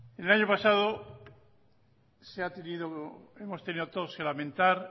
el año pasado hemos tenido todos que lamentar